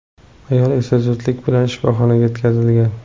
Ayol esa zudlik bilan shifoxonaga yetkazilgan.